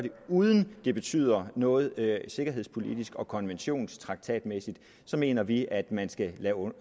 uden at det betyder noget sikkerhedspolitisk og konventions og traktatmæssigt så mener vi at man skal